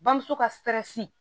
Bamuso ka sɛrɛsi